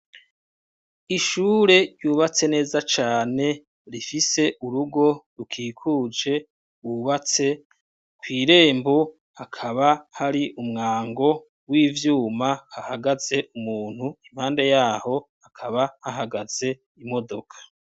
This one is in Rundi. Ishure ryubatse neza cane rifise urugo rukikuje bubatse kw' irembo hakaba hari umwango w'ivyuma hahagaze umuntu impande yaho hakaba hahagaze imodoka.